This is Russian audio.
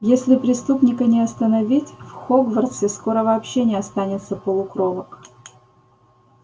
если преступника не остановить в хогвартсе скоро вообще не останется полукровок